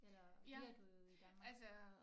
Eller bliver du i Danmark